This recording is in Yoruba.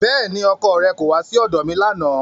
Bẹ́ẹ̀ni, ọkọ rẹ kò wá sí ọ̀dọ̀ mi lánàá